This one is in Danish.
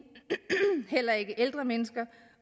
heller ikke ældre mennesker